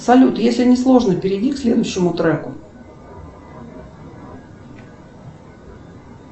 салют если не сложно перейди к следующему треку